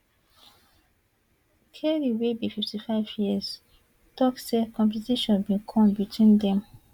carey wey be fifty five years tok say competition bin come between dem